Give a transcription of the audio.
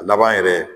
A laban yɛrɛ